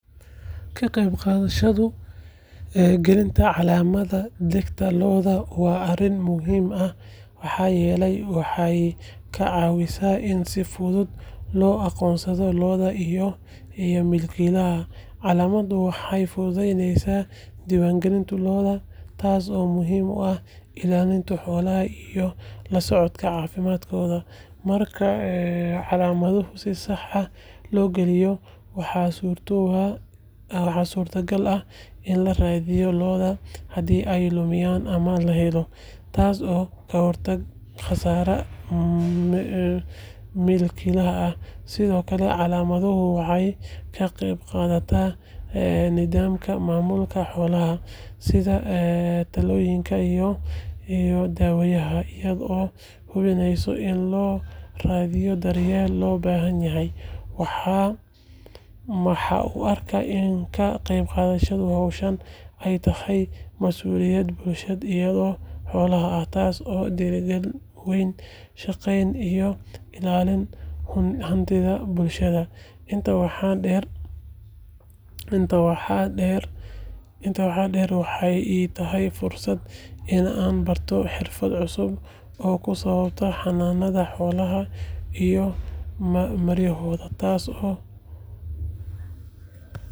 Ka qaybqaadashada gelinta calaamadda dhegta lo’da waa arrin muhiim ah maxaa yeelay waxay ka caawisaa in si fudud loo aqoonsado lo’da iyo milkiilayaasha. Calaamaddu waxay fududeysaa diiwaangelinta lo’da, taasoo muhiim u ah ilaalinta xoolaha iyo la socodka caafimaadkooda. Marka calaamaddu si sax ah loo geliyo, waxaa suurtogal ah in la raadiyo lo’da haddii ay lumiyaan ama la xado, taasoo ka hortagaysa khasaaraha milkiilaha. Sidoo kale, calaamaddu waxay ka qeyb qaadataa nidaamka maamulka xoolaha, sida tallaalada iyo daawaynta, iyadoo hubinaysa in lo’da la siiyo daryeelka loo baahan yahay. Waxaan u arkaa in ka qaybqaadashada howlahan ay tahay masuuliyad bulshada iyo xoolaha ah, taasoo dhiirrigelisa wada shaqeyn iyo ilaalinta hantida bulshada. Intaa waxaa dheer, waxay ii tahay fursad aan ku barto xirfado cusub oo ku saabsan xanaanada xoolaha iyo maarayntooda, taasoo.